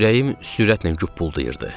Ürəyim sürətlə güpuldayırdı.